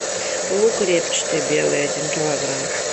лук репчатый белый один килограмм